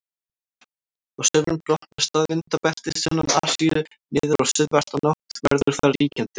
Á sumrin brotnar staðvindabeltið sunnan Asíu niður og suðvestanátt verður þar ríkjandi.